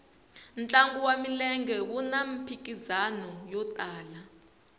ntlangu wa milenge wuna mphikizano yo tala